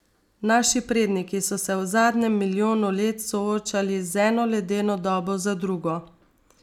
Naši predniki so se v zadnjem milijonu let soočali z eno ledeno dobo za drugo.